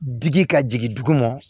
Digi ka jigin dugu ma